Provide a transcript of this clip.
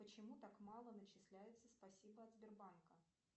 почему так мало начисляется спасибо от сбербанка